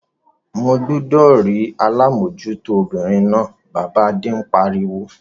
Mo gbúdọ̀ rí alámòtújó obìnrin náà! Bàbá Adé pariwo.